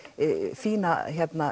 fína